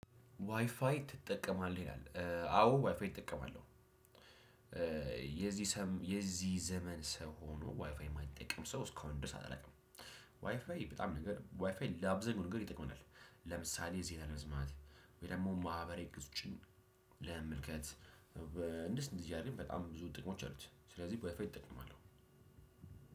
ዋይፋይ ትጠቀማለህ ይላል? አዎ ዋይፋይ እጠቀማለው የዚህ ሰም የዚህ ዘመን ሰው ሆኖ ዋይፋይ የማይጠቅም ሰው እስካሁን ድረስ አላውቅም። ዋይፋይ በጣም ነገር ዋይፋይ ላብዛኛው ነገር ይጠቅመናል። ለምሳሌ ዜና ለመስማት ወይ ደግሞ ማህበራዊ ገጾችን ለመመልከት እንደዚህ እንደዚህ አይነት በጣም ብዙ ጥቅሞች አሉት። ስለዚህ ዋይፋይ እጠቀማለሁ።